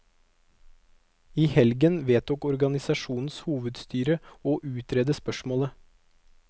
I helgen vedtok organisasjonens hovedstyre å utrede spørsmålet.